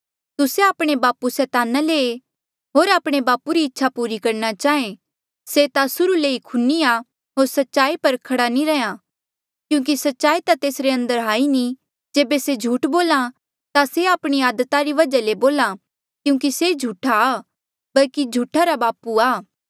तुस्से आपणे बापू सैताना ले ऐें होर आपणे बापू री इच्छा पूरी करणा चाहें से ता सूरहू ले ई खूनी आ होर सच्चाई पर खड़ा नी रैंहयां क्यूंकि सच्चाई ता तेस अंदर हाई नी जेबे से झूठ बोल्हा ता से आपणी आदता री वजहा ले बोल्हा क्यूंकि से झूठा आ बल्कि झूठा रा बापू आ